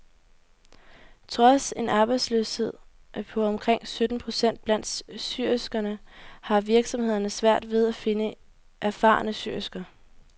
Trods en arbejdsløshed på omkring sytten procent blandt syerskerne har virksomhederne svært ved at finde erfarne syersker.